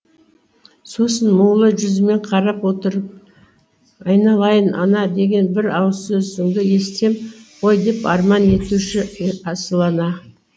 сосын мұңлы жүзімен қарап отырып айналайын ана деген бір ауыз сөзіңді естісем ғой деп арман етуші асыл ана